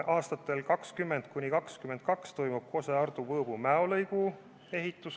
Aastatel 2020–2022 toimub Kose–Ardu–Võõbu–Mäo 2 + 2 lõigu ehitus.